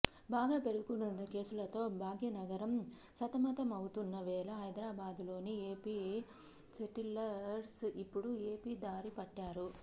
బాగా పెరుగుతున్న కేసులతో భాగ్యనగరం సతమతమవుతున్న వేళ హైదరాబాదులోని ఏపీ సెటిలర్స్ ఇప్పుడు ఏపీ దారి పట్టారు